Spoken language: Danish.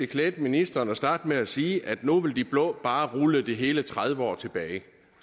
klædte ministeren at starte med at sige at nu vil de blå bare rulle det hele tredive år tilbage